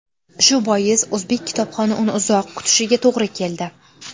Shu bois o‘zbek kitobxoni uni uzoq kutishiga to‘g‘ri keldi.